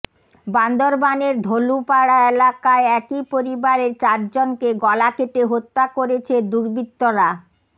বান্দরবানের ধলুপাড়া এলাকায় একই পরিবারের চারজনকে গলা কেটে হত্যা করেছে দুর্বৃত্তরা